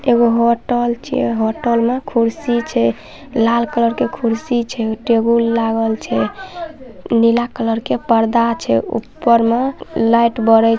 hotel मे कुर्सी छै लाल कलर के कुर्सी छै टेबल लागल छै नीला कलर के परदा छै ऊपर में लाइट बड़े--